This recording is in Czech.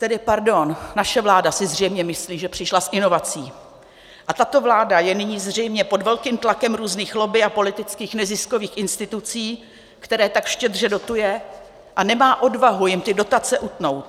Tedy pardon, naše vláda si zřejmě myslí, že přišla s inovací, a tato vláda je nyní zřejmě pod velkým tlakem různých lobby a politických neziskových institucí, které tak štědře dotuje, a nemá odvahu jim ty dotace utnout.